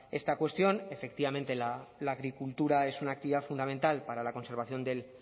esta cuestión efectivamente la agricultura es una actividad fundamental para la conservación del